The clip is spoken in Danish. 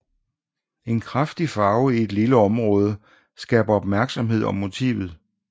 En kraftig farve i et lille område skaber opmærksomhed om motivet